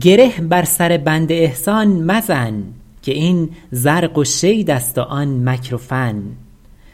گره بر سر بند احسان مزن که این زرق و شید است و آن مکر و فن